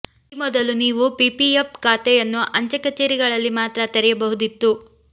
ಈ ಮೊದಲು ನೀವು ಪಿಪಿಎಫ್ ಖಾತೆಯನ್ನು ಅಂಚೆ ಕಚೇರಿಗಳಲ್ಲಿ ಮಾತ್ರ ತೆರೆಯಬಹುದಿತ್ತು